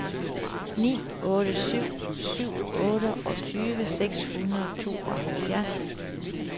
ni otte syv syv otteogtyve seks hundrede og tooghalvfjerds